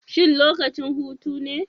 Shin lokacin hutu ne?